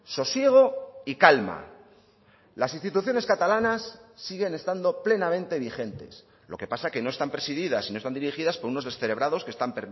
sosiego y calma las instituciones catalanas siguen estando plenamente vigentes lo que pasa que no están presididas y no están dirigidas por unos descerebrados que están